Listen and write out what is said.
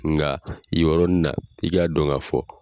Nga yen yɔrɔnin na i k'a dɔn ka fɔ